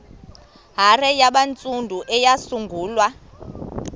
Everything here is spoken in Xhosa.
hare yabantsundu eyasungulwa